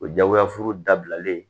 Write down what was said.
O jagoyafuru dabilalen